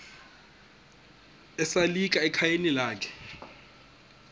esalika ekhayeni lakhe